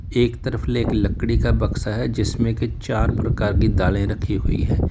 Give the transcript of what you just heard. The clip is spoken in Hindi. एक तरफ एक लकड़ी का बक्सा है जिसमें की चार प्रकार की दालें रखी हुई है।